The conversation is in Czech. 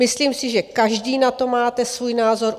Myslím si, že každý na to máte svůj názor.